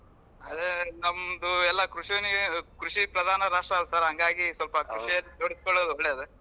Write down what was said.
ಆದ್ರೆ ನಮ್ದು ಎಲ್ಲಾ ಕೃಷಿ ಕೃಷಿ ಪ್ರಧಾನ ರಾಷ್ಟ್ರ ಅಲಾ sir ಹಂಗಾಗಿ ಸ್ವಲ್ಪ ಕೃಷಿ ನೊಡ್ಕೊಳ್ಳೋದ್ ಒಳ್ಳೆಯದೇ.